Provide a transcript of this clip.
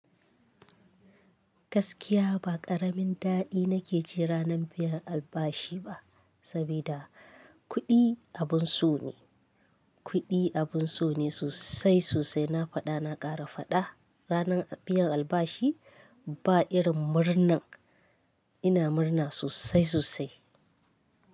Gaskiya ba ƙaramin daɗi nake ji ranar biyan albashi ba, sabida kuɗi abun so ne, kuɗi abun so ne sosai sosai. Na faɗa na ƙara faɗa, ranar biyan albashi ba irin murnan ina murna sosai sosai.